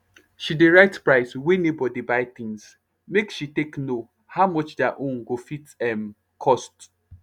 she dey write price wey neighbour dey buy things make she take know how much diir own go fit um cost